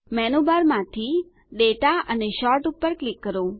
menu bar માંથી દાતા અને સોર્ટ પર ક્લિક કરો